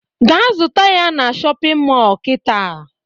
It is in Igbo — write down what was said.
Gaa zụta ya na shọpịn mọọ kịta!